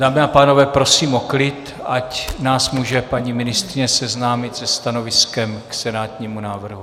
Dámy a pánové, prosím o klid, ať nás může paní ministryně seznámit se stanoviskem k senátnímu návrhu.